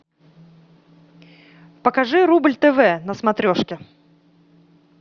покажи рубль тв на смотрешке